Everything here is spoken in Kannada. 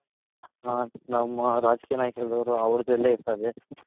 ನಮ್ಮ ರಾಜಕೀಯ ನಾಯಕರದು ಅವ್ರ್ದೆಲ್ಲಾ ಇರ್ತದೆ